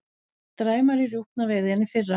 Dræmari rjúpnaveiði en í fyrra